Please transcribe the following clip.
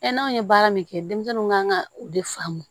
n'aw ye baara min kɛ denmisɛnninw kan ka u de faamu